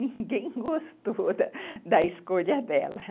Ninguém gostou da escolha dela.